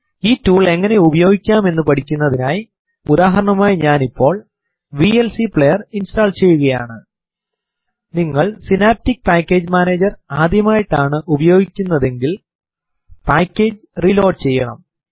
ഈ ടൂൾ എങ്ങനെ ഉപയോഗിക്കാം എന്നു പഠിക്കുന്നതിനായി ഉദാഹരണമായി ഞാൻ ഇപ്പോൾ വിഎൽസി പ്ലേയർ ഇൻസ്റ്റോൾ ചെയ്യുകയാണ് നിങ്ങൾ സിനാപ്റ്റിക് പാക്കേജ് മാനേജർ ആദ്യമായിട്ടാണ് ഉപയോഗിക്കുന്നതെങ്കിൽ പായ്േകജ് റീലോഡ് ചെയ്യണം